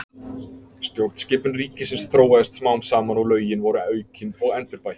Stjórnskipun ríkisins þróaðist smám saman og lögin voru aukin og endurbætt.